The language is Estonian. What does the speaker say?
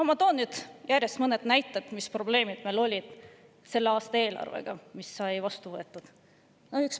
Ma toon nüüd mõned näited selle kohta, mis probleemid olid meil selle aasta eelarvega, mis sai vastu võetud.